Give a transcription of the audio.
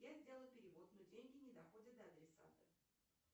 я сделала перевод но деньги не доходят до адресата